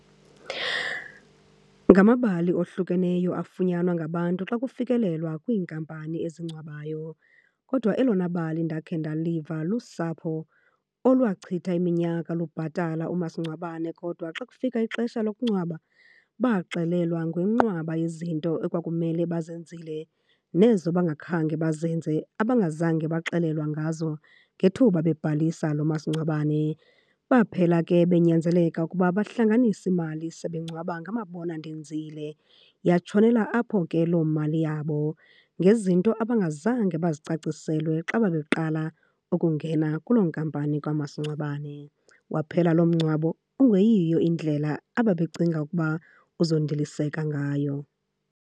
Ngamabali ohlukeneyo afunyanwa ngabantu xa kufikelelwa kwiinkampani ezingcwabayo. Kodwa elona bali ndakhe ndaliva lusapho olwachitha iminyaka lubhatala umasingcwabane kodwa xa kufika ixesha lokungcwaba baxelelwa ngenqwaba yezinto ekwakumele bazenzile nezo bangakhange bazenze, abangazange baxelelwa ngazo ngethuba bebhalisa lo masingcwabane. Baphela ke benyanzeleka ukuba bahlanganise imali sebengcwaba ngamabona ndenzile. Yatshonela apho ke loo mali yabo, ngezinto abangazange bazicaciselwe xa babeqala ukungena kuloo nkampani kamasingcwabane. Waphela loo mngcwabo ungeyiyo indlela ababecinga ukuba uzondiliseka ngayo.